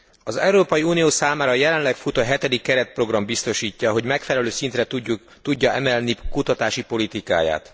Az Európai Unió számára jelenleg futó hetedik keretprogram biztosítja, hogy megfelelő szintre tudja emelni kutatási politikáját.